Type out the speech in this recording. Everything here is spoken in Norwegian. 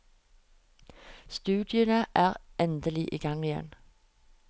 Studiene er endelig i gang igjen.